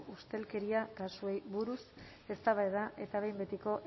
ustelkeria kasuei buruz eztabaida eta behin betiko